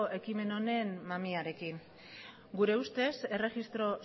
ekimen honen mamiarekin gure ustez erregistro